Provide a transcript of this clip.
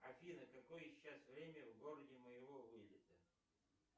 афина какое сейчас время в городе моего вылета